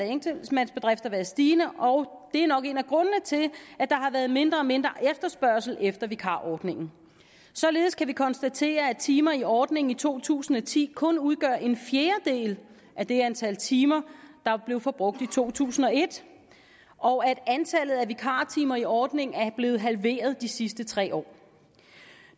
enkeltmandsbedrifter været stigende og det er nok en af grundene til at der har været mindre og mindre efterspørgsel efter vikarordningen således kan vi konstatere at antallet af timer i ordningen i to tusind og ti kun udgør en fjerdedel af det antal timer der blev forbrugt i to tusind og et og at antallet af vikartimer i ordningen er blevet halveret de sidste tre år